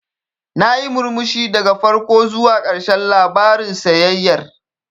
Nayi murmushi daga farko zuwa ƙarshen labarin sayayyar.